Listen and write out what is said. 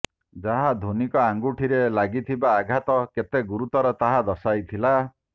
ଯାହା ଧୋନିଙ୍କ ଆଙ୍ଗୁଠିରେ ଲାଗିଥିବା ଆଘାତ କେତେ ଗୁରୁତର ତାହା ଦର୍ଶାଇଥିଲା